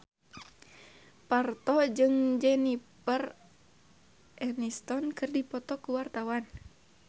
Parto jeung Jennifer Aniston keur dipoto ku wartawan